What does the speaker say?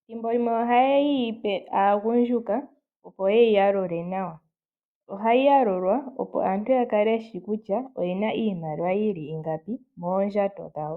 ,ethimbo limwe oha yeyipe aagundjuka opo ye yi yalule nawa . Ohayi yalulwa opo aantu yakale yeshi kutya oyena iimaliwa yili ingapi moondjato dhawo.